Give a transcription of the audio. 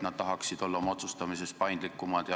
Nad tahaksid olla otsustamisel paindlikumad.